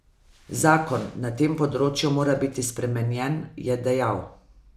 Zakon na tem področju mora biti spremenjen, je dejal.